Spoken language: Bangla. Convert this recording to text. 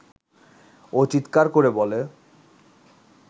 ও চিত্কার করে বলে